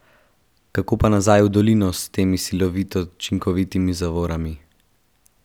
Kako pa nazaj v dolino s temi silovito učinkovitimi zavorami?